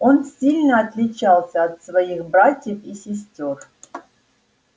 он сильно отличался от своих братьев и сестёр